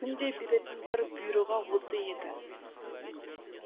күнде беретін бір бұйрығы осы еді